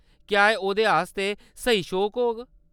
क्या‌ एह्‌‌ ओह्‌‌‌‌दे आस्तै स्हेई शौक होग?